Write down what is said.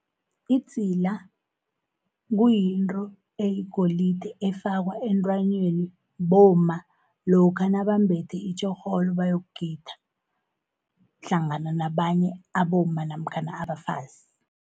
Idzila, kuyintro eyigolide efakwa entranyeni bomma, lokha nababambethe itjorholo bayokugida, hlangana nabanye abomma namkhana abafazi.